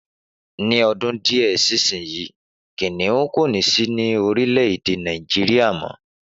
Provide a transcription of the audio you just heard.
Ni ọdún díẹ̀ sísìn yìí, Kìnìún kò ní sí ní orílè èdè Nàìjíríà mọ́